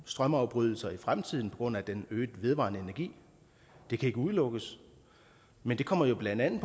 strømafbrydelser i fremtiden på grund af den øgede mængde af vedvarende energi det kan ikke udelukkes men det kommer jo blandt andet